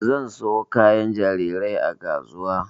Zan siyo kayan jarirai a kasuwa